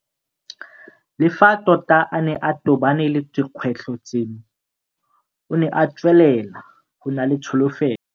Le fa tota a ne a tobane le dikgwetlho tseno, o ne a tswelela go nna le tsholofelo.